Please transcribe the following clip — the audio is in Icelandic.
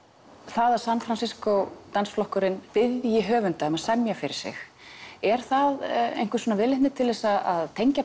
það að San Francisco flokkurinn biðji danshöfunda um að semja fyrir sig er það einhver viðleitni til að tengja